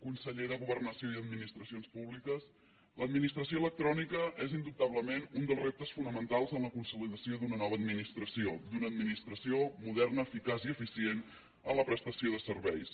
conseller de governació i administracions públiques l’administració electrònica és indubtablement un dels reptes fonamentals en la consolidació d’una nova administració d’una administració moderna eficaç i eficient en la prestació de serveis